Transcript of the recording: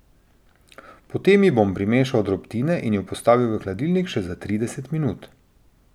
Potem ji bom primešal drobtine in jo postavil v hladilnik še za trideset minut.